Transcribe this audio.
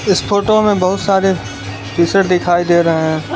इस फोटो में बहुत सारे टीशर्ट दिखाई दे रहे हैं।